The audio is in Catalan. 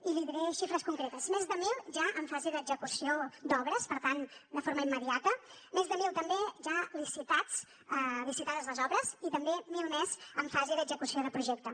i li diré xifres concretes més de mil ja en fase d’execució d’obres per tant de forma immediata més de mil també ja licitats licitades les obres i també mil més en fase d’execució de projecte